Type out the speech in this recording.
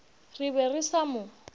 re be re sa mo